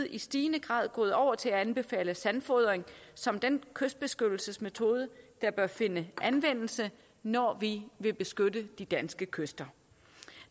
i stigende grad gået over til at anbefale sandfodring som den kystbeskyttelsesmetode der bør finde anvendelse når vi vil beskytte de danske kyster